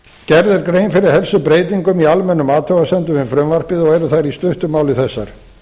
gerð er grein fyrir helstu breytingum í almennum athugasemdum við frumvarpið og eru þær í stuttu máli þessar